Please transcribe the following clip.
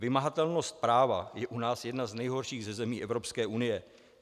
Vymahatelnost práva je u nás jedna z nejhorších ze zemí Evropské unie.